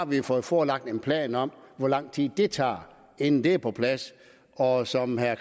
vi har fået forelagt en plan om hvor lang tid det tager inden det er på plads og som herre